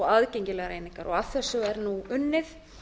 aðgengilegar einingar að þessu er nú unnið